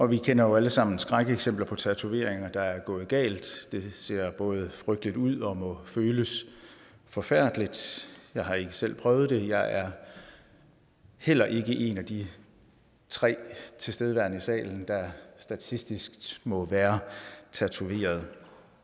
vi kender jo alle sammen skrækeksempler på tatoveringer der er gået galt det ser både frygteligt ud og må føles forfærdeligt jeg har ikke selv prøvet det og jeg er heller ikke en af de tre tilstedeværende i salen der statistisk set må være tatoveret